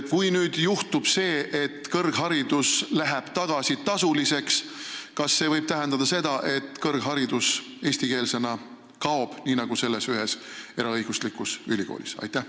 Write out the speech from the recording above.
Kui nüüd juhtub see, et kõrgharidus läheb tagasi tasuliseks, siis kas see võib tähendada seda, et kõrgharidus eestikeelsena kaob, nii nagu selles ühes eraõiguslikus ülikoolis?